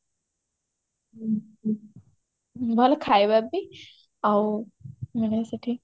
ଭଲ ଖାଇବା ବି ଆଉ ମାନେ ସେଠି